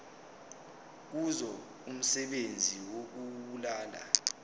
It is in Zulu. kuzo umsebenzi wokubulala